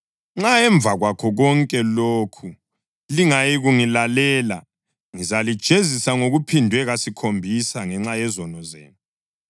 Nxa emva kwakho konke lokhu lingayikungilalela, ngizalijezisa ngokuphindwe kasikhombisa ngenxa yezono zenu.